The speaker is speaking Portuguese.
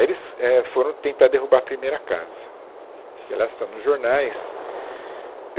Aí, eles, é, foram tentar derrubar a primeira casa, né, que aliás está nos jornais.